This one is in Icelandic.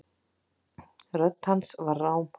Rödd hans var rám.